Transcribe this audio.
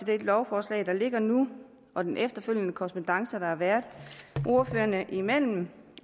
det lovforslag der ligger nu og den efterfølgende korrespondance der har været ordførerne imellem